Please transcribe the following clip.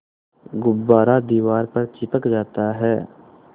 गुब्बारा दीवार पर चिपक जाता है